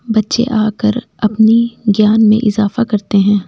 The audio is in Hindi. बच्चे आकर अपनी ज्ञान में इजाफा करते हैं।